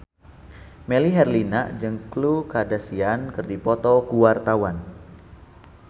Melly Herlina jeung Khloe Kardashian keur dipoto ku wartawan